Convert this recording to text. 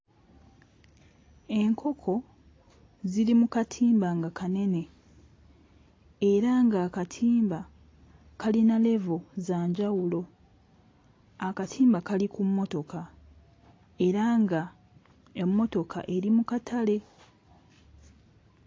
Enkoko ziri mu katimba nga kanene era ng'akatimba kalina level za njawulo, akatimba kali ku mmotoka era nga emmotoka eri mu katale.